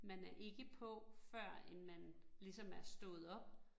Man er ikke på før end man ligesom er stået op